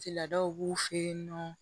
Tigilaw b'u fe yen nɔ